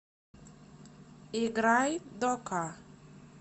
играй дока